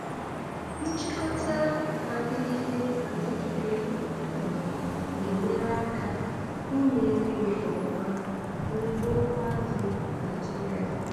Nchịkọta na-adịgide adịgide um na-enyere aka inye nri nke ọma na ugbo azụ̀ Naịjiria.